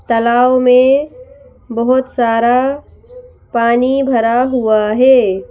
तलाव में बहोत सारा पानी भरा हुआ है।